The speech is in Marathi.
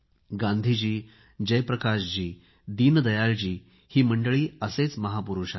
गांधीजी जयप्रकाशजी दीनदयाळजी ही मंडळी असेच महापुरूष आहेत